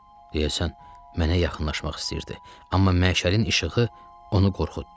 Deyəsən, mənə yaxınlaşmaq istəyirdi, amma məşəlin işığı onu qorxutdu.